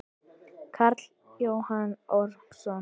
Karl Jóhann Ormsson